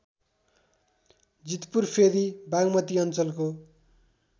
जितपुरफेदी बागमती अञ्चलको